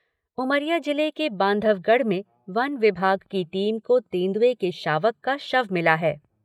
उमरिया जिले के बांधवगढ़ में वन विभाग की टीम को तेंदुए के शावक का शव मिला है।